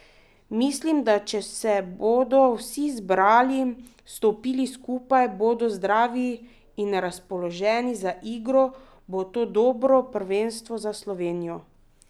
Mislim, da če se bodo vsi zbrali, stopili skupaj, bodo zdravi in razpoloženi za igro, bo to dobro prvenstvo za Slovenijo.